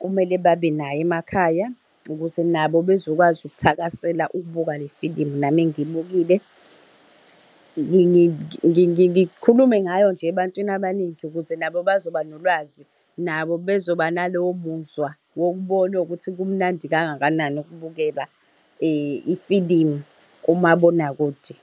kumele babe nayo emakhaya, ukuze nabo bezokwazi ukuthakasela ukubuka le filimu nami engiyibukile. Ngikhulume ngayo nje ebantwini abaningi, ukuze nabo bazoba nolwazi, nabo bezoba nalowo muzwa wokubona ukuthi kumnandi kangakanani ukubukela ifilimu kumabonakude.